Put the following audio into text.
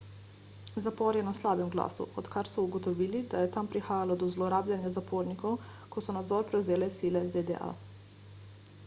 zapor je na slabem glasu odkar so ugotovili da je tam prihajalo do zlorabljanja zapornikov ko so nadzor prevzele sile zda